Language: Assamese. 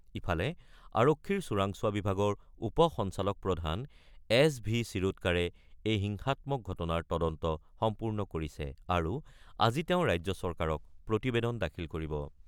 ইফালে , আৰক্ষীৰ চোৰাংচোৱা বিভাগৰ উপ সঞ্চালকপ্ৰধান এছ ভি ছিৰোডকাৰে এই হিংসাত্মক ঘটনাৰ তদন্ত সম্পূৰ্ণ কৰিছে আৰু আজি তেওঁ ৰাজ্য চৰকাৰক প্ৰতিবেদন দাখিল কৰিব।